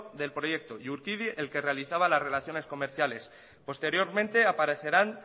del proyecto y urkidi el que realizaba las relaciones comerciales posteriormente aparecerán